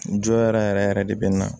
N jɔ yɛrɛ yɛrɛ yɛrɛ de bi na